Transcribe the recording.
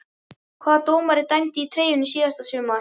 Hvaða dómari dæmdi í treyjunni síðasta sumar?